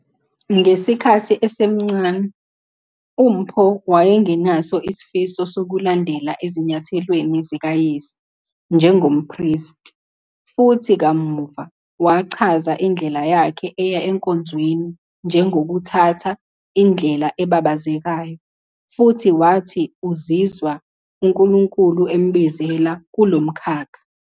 Ngesikhathi esemncane, uMpho wayengenaso isifiso sokulandela ezinyathelweni zikayise njengompristi, futhi kamuva wachaza indlela yakhe eya enkonzweni njengokuthatha "indlela ebabazekayo" futhi wathi uzizwa uNkulunkulu embizela kulo mkhakha.